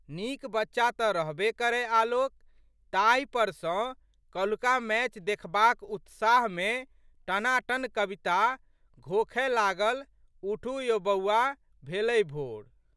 नीक बच्चा तऽ रहबे करए आलोक ताहिपर सँ कल्हुका मैच देखबाक उत्साहमे टनाटन कविता घोखए लागल उठू यौ बौआ भेलै भोर।